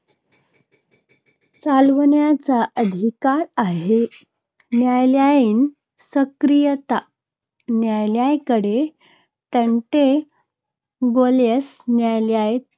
चालवण्याचा अधिकार आहे.